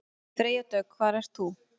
Freyja Dögg: Hvað ert þú?